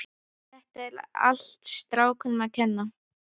Þetta er allt strákunum að kenna.